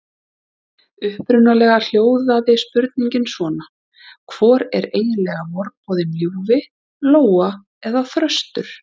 Upprunalega hljóðaði spurningin svona: Hvor er eiginlega vorboðinn ljúfi: Lóa eða þröstur?